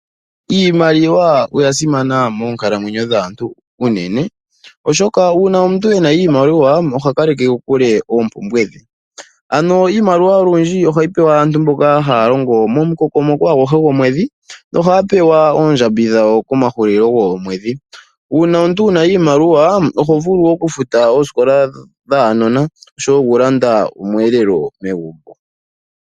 Iimaliwa oya simana moonkalamwenyo dhaantu uunene. Oshoka uuna omuntu ena iimaliwa oha kaleke kokule oompumbwe dhe. Ano iimaliwa olundji ohayi pewa aantu mboka haya longo momukokomoko aguhe gomwedhi nohaya pewa oondjambi dhawo komahulilo goomwedhi. Uuna omuntu wuna iimaliwa oha vulu oku futa oosikola dhaanona nokulanda omweelelo